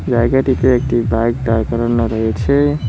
জায়গাটিতে একটি বাইক দাঁড় করানো রয়েছে।